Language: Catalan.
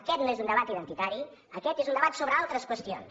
aquest no és un debat identitari aquest és un debat sobre altres qüestions